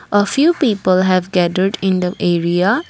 a few people have gathered in the area.